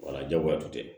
Wala jagoya tun tɛ